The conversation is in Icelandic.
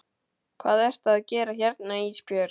Hvað ertu að gera hérna Ísbjörg?